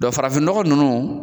farafin nɔgɔ ninnu